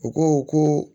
U ko ko